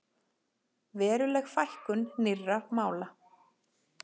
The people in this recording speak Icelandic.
Veruleg fækkun nýrra mála